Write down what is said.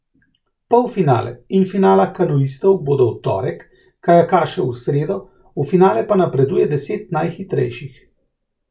Polfinale in finala kanuistov bodo v torek, kajakašev v sredo, v finale pa napreduje deset najhitrejših.